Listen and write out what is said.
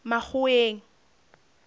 makgoweng